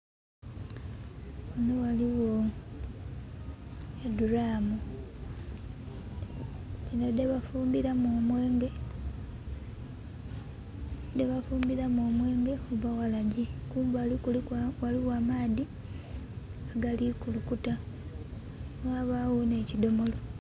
Ghano ghaligho edulaamu dhino dhebafumbiramu omwenge, dhebafumbiramu omwenge oba waragi. Kumbali ghaligho amaadhi agali kulukuta ghabagho ne kidhomolo.